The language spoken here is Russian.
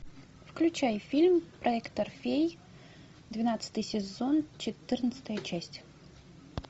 включай фильм проектор фей двенадцатый сезон четырнадцатая часть